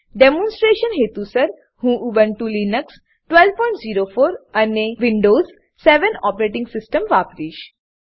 demonstration હેતુસર હું Ubuntu Linux 1204 અને વિન્ડોવ્ઝ 7 ઓપરેટીંગ સીસ્ટમ વાપરીશ